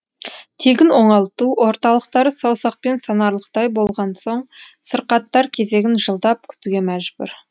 тегін оңалту орталықтары саусақпен санарлықтай болған соң сырқаттар кезегін жылдап күтуге мәжбүр